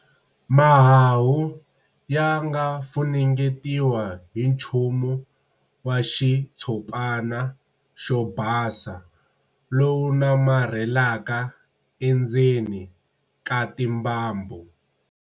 Mahahu ya nga funengetiwa hi nchumu wa xitshopana xo basa lowu namarhelaka endzeni ka timbambu.